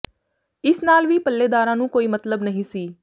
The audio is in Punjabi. ਇਸ ਨਾਲ ਵੀ ਪੱਲੇਦਾਰਾਂ ਨੂੰ ਕੋਈ ਮਤਲਬ ਨਹੀਂ ਸੀ